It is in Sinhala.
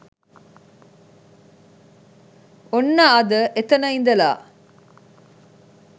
ඔන්න අද එතන ඉදලා